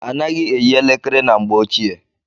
A naghị eyi elekere na mgbe ọchịe.